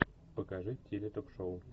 покажи теле ток шоу